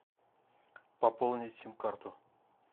пополнить сим карту